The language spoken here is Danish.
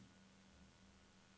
O V E R H A L I N G S B A N E N